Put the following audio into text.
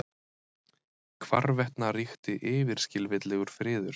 Hvarvetna ríkti yfirskilvitlegur friður.